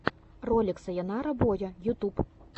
ролик сайонара боя ютюб